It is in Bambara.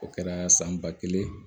O kɛra san ba kelen